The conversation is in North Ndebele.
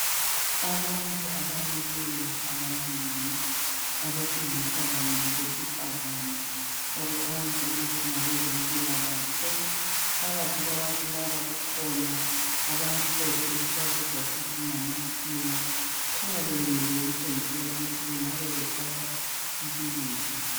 Abantu abamileyo abanengi abesilisa labesifazana okukhanya ukuthi ngabezempilakahle phakathi kwabantu laba kukhona abamhlophe ngamakhiwa kukhanya bemile okutshengisela ukuthi bengabe bethatha impikitsha